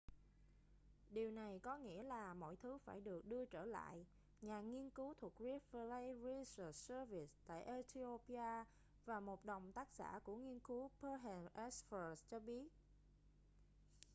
điều này có nghĩa là mọi thứ phải được đưa trở lại nhà nghiên cứu thuộc rift valley research service tại ethiopia và một đồng tác giả của nghiên cứu berhane asfaw cho biết